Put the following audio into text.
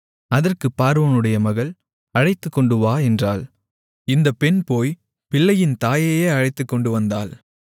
அதற்குப் பார்வோனுடைய மகள் அழைத்துக்கொண்டுவா என்றாள் இந்தப் பெண் போய்ப் பிள்ளையின் தாயையே அழைத்துக்கொண்டு வந்தாள்